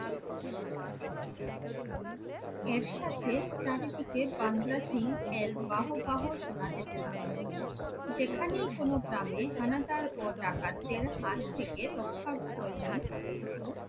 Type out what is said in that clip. এর সাথে চারিদিকে বান্দা সিং এর বাহ্ বাহ্ শোনা যেতে লাগলো। যেখানেই কোনো গ্রামে হানাদার ও ডাকাতদের হাত থেকে রক্ষার প্রয়োজন হতো